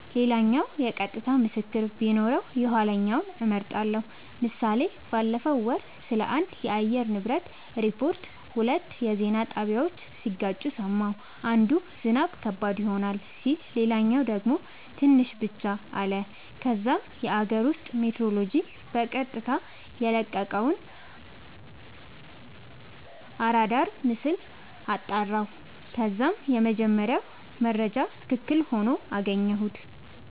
ሌላኛው የቀጥታ ምስክር ቢኖረው የኋለኛውን እመርጣለሁ ## ምሳሌ ባለፈው ወር ስለአንድ የአየር ንብረት ሪፖርት ሁለት የዜና ጣቢያወች ሲጋጩ ሰማሁ። አንዱ "ዝናብ ከባድ ይሆናል " ሲል ሌላኛው ደግሞ "ትንሽ ብቻ " አለ። ከዛም የአገር ውስጥ ሜትሮሎጅ በቀጥታ የለቀቀውን አራዳር ምስል አጣራሁ ከዛም የመጀመሪያው መረጃ ትክክል ሆኖ አገኘሁት